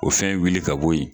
O fɛn wuli ka bɔ yen.